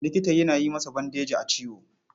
Likita yana sa masa bandeji a ciwo.